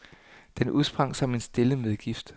Den udsprang som en stille medgift.